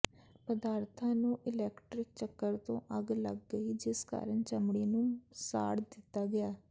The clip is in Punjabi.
ਪਦਾਰਥਾਂ ਨੂੰ ਇਲੈਕਟ੍ਰਿਕ ਚੱਕਰ ਤੋਂ ਅੱਗ ਲੱਗ ਗਈ ਜਿਸ ਕਾਰਨ ਚਮੜੀ ਨੂੰ ਸਾੜ ਦਿੱਤਾ ਗਿਆ